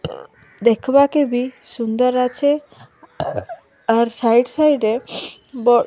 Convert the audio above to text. ଦେଖବାକେ ବି ସୁନ୍ଦର୍ ଅଛେ ଆର୍ ସାଇଡ଼ ସାଇଡ଼ ରେ ବ --